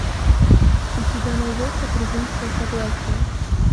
у тебя найдется презумпция согласия